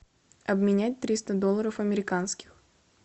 обменять триста долларов американских